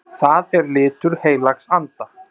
Það er litur heilags anda.